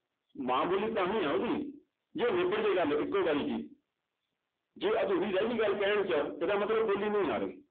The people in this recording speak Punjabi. ਮਾਂ ਬੋਲੀ ਤਾਂ ਹੀ ਹੈ ਉਹਦੀ ਜੇ ਨਿਬੜ ਜਾਏ ਗੱਲ ਇੱਕੋ ਵਾਰੀ ਚ ਹੀ ਜੇ ਅਧੂਰੀ ਰਹਿ ਗਈ ਗੱਲ ਕਹਿਣ ਚ ਇਹਦਾ ਮਤਲਬ ਬੋਲੀ ਨਹੀਂ ਆ ਰਹੀ।